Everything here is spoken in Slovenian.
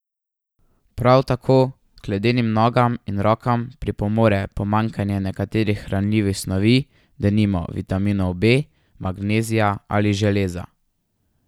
Prav tako k ledenim nogam in rokam pripomore pomanjkanje nekaterih hranljivih snovi, denimo vitaminov B, magnezija ali železa.